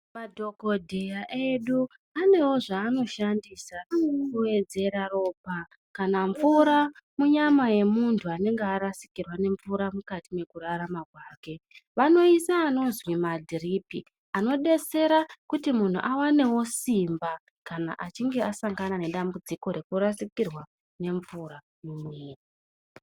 Dhokodheya edu anowo zvaanoshandisa kuwedzera ropa kana mvura munyama yemuntu einge arashikirwa nemvura mukati mwekurarama kwake vanoise anozwi madhiripi anodetsera kuti muntu awanewo simba kana achinge asangana nedambudziko rwkurasikirwa nemvura mumwiri.